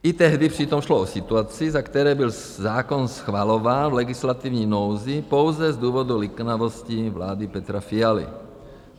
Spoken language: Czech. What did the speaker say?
I tehdy přitom šlo o situaci, za které byl zákon schvalován v legislativní nouzi pouze z důvodu liknavosti vlády Petra Fialy.